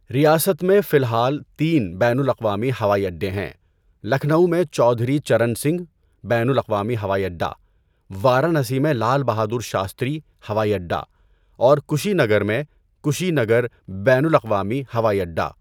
ریاست میں فی الحال تین بین الاقوامی ہوائی اڈے ہیں، لکھنؤ میں چودھری چرن سنگھ بین الاقوامی ہوائی اڈہ، وارانسی میں لال بہادر شاستری ہوائی اڈہ، اور کشی نگر میں کشی نگر بین الاقوامی ہوائی اڈہ۔